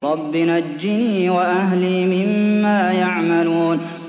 رَبِّ نَجِّنِي وَأَهْلِي مِمَّا يَعْمَلُونَ